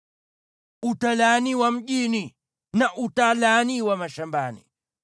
Utalaaniwa mjini na utalaaniwa mashambani.